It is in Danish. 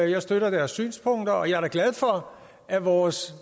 jeg støtter deres synspunkter og jeg er da glad for at vores